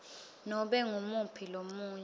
nobe ngumuphi lomunye